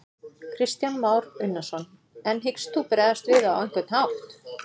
Kristján Már Unnarsson: En hyggst þú bregðast við á einhvern hátt?